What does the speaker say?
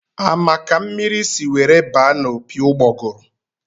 A ma ka mmiri si were baa n'opi ụgbọgụrụ?